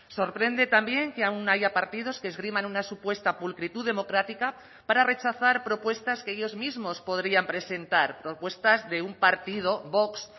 sorprende también que aún haya partidos que esgriman una supuesta pulcritud democrática para rechazar propuestas que ellos mismos podrían presentar propuestas de un partido vox